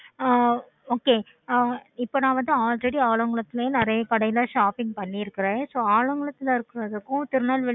okay இப்போ நான் வந்து already அலங்குளத்துலயே நிறைய கடையி shopping ல பண்ணிருக்கேன்